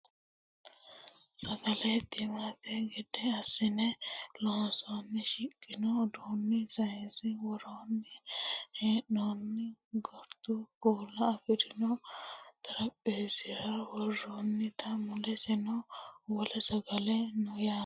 sagale timmate gede assine loonsoonnita hiiqqaqqine duume sayiinera worre hee'noonnitanna gordu kuula afirino xarapheezzira worroonnite muleseno wole sagale no yaate